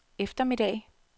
eftermiddag